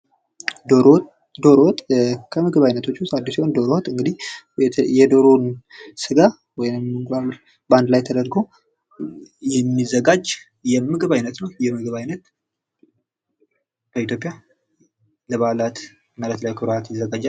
ዶሮ ወጥ:- ዶሮ ወጥ ከምግብ አይነቶች ዉስጥ አንዱ ሲሆን ዶሮ ወጥ እንግዲህ የዶሮን ስጋ ወይም እንቁላል በአንድ ላይ ተደርጎ የሚዘጋጅ የምግብ አይነት ነዉ። ይህ የምግብ አይነት በኢትዮጵያ ለበዓላት ይዘጋጃል።